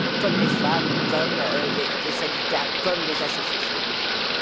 comme les femmes, comme les syndicats, comme les associations de jeunes.